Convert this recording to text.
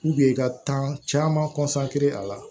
i ka kan caman a la